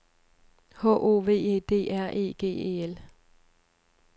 H O V E D R E G E L